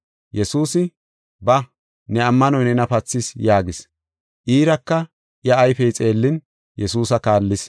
Yesuusi, “Ba, ne ammanoy nena pathis” yaagis. Iiraka iya ayfey xeellin, Yesuusa kaallis.